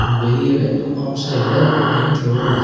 வெளியவே அவுட் சைடுல மெயின் ரோடு ஒன்னு இருக்--